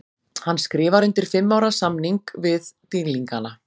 Hann skrifar undir fimm ára samning við dýrlingana.